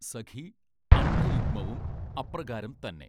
സഖീ അണ്ഡയുഗ്മവും അപ്രകാരംതന്നെ